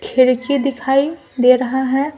खिड़की दिखाई दे रहा है ।